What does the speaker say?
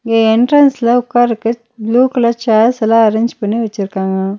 இங்க என்ட்ரன்ஸ்ல உக்காரக்கு ப்ளூ கலர் சேர்ஸ் எல்லா அரேஞ்ச் பண்ணி வெச்சிருக்காங்க.